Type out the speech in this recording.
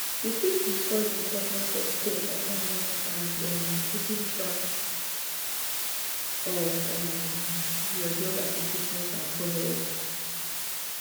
you fit discuss di importance of staying organized and um keeping track of um your job applications and followups